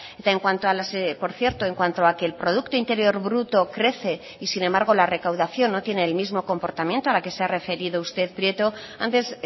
eta en cuanto a las por cierto en cuanto a que el producto interior bruto crece y sin embargo la recaudación no tiene el mismo comportamiento a la que se ha referido usted prieto antes